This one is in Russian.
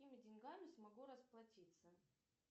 какими деньгами смогу расплатиться